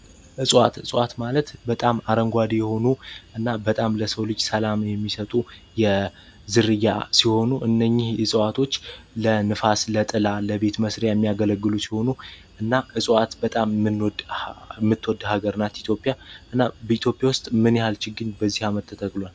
እፅዋት እፅዋት ማለት በጣም አረንጓዴ የሆኑ እና በጣም ለሰው ልጅ ሰላም የሚሰጡ የዝርያ ሲሆኑ እነኝህ እጽዋቶች ለንፋስ ለጥላ ለቤት መስሪያ የሚያገለግሉ ሲሆኑ እና እፅዋት በጣም ምትወድ ሀገር እናት ኢትዮጵያ እና በኢትዮጵያ ውስጥ ምንያል ችግኝ በዚህ አመት ተተክሏል።